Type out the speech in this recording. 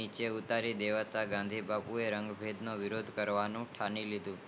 નીચે ઉતારી દેવામાં માંથી બાપુએ રંગ ભેદ નો વિરોદ કરવાનું થાળી લીધું